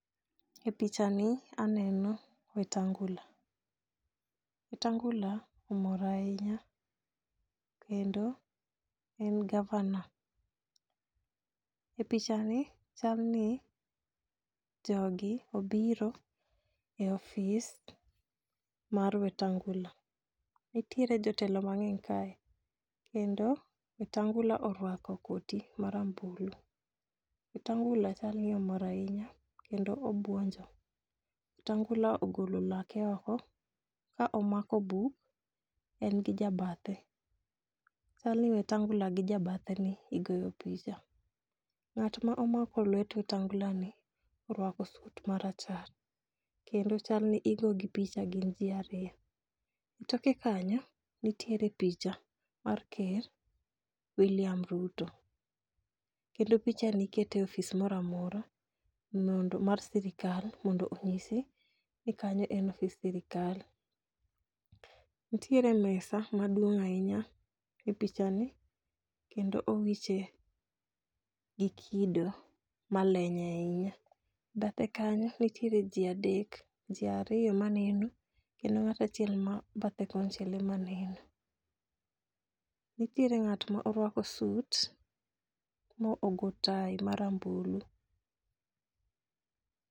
E picha ni aneno wetangula, wetangula omor ahinya kendo en gavana. E picha ni chal ni jogi obiro e ofis mar wetangula, nitiere jotelo mang'eny kae kendo wetangula orwako koti marambulu . Wetangula chalni omor ahinya kendo obuonjo wetangula ogolo lake oko ka omako buk, en gi jabathe. Chalni wetangula gi ja bathe ni igoyo picha . Ng'at ma omako lwet wetangula ni orwako sut marachar kendo chal ni igogi picha gin jii ariyo. E toke kanyo nitiere picha mar ker wiliam Ruto kendo Picha ni ikete ofis moramora mondo mar sirikal mondo onyisi ni kanyo en ofis sirikal . Nitiere mesa maduong' ahinya e picha ni kendo owiche gi kido maleny ahinya . E bathe kanyo nitiere jii adek jiii ariyo maneno kendo ng'at achiel ma bathe konchiel ema neno. Nitiere ng'at ma orwako sut mo ogo tai marambulu.